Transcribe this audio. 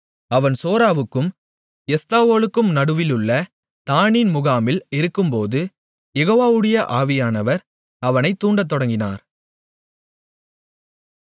அவன் சோராவுக்கும் எஸ்தாவோலுக்கும் நடுவிலுள்ள தாணின் முகாமில் இருக்கும்போது யெகோவாவுடைய ஆவியானவர் அவனை தூண்டத்தொடங்கினார்